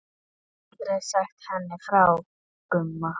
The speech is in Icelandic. Aldrei sagt henni frá Gumma.